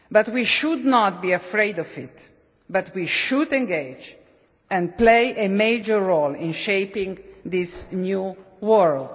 We should not be afraid of that but should engage and play a major role in shaping this new world.